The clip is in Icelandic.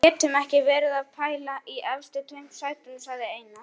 Við getum ekki verið að pæla í efstu tveim sætunum, sagði Einar.